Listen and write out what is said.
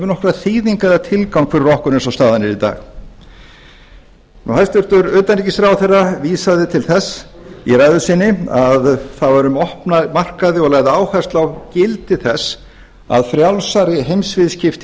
nokkra þýðingu eða tilgang fyrir okkur eins og staðan er í dag hæstvirts utanríkisráðherra vísaði til þess í ræðu sinni að það væri um opna markaði og lagði áherslu á gildi þess að frjálsari heimsviðskipti